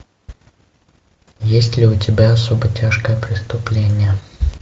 есть ли у тебя особо тяжкое преступление